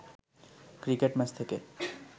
cricket match থেকে